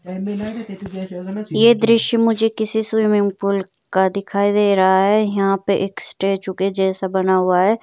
ये दृश्य मुझे किसी स्विमिंग पूल का दिखाई दे रहा है यहां पर एक स्टैचू के जैसा बना हुआ है।